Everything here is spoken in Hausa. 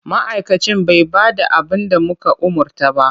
Ma'aikacin bai ba da abin da muka umarta ba.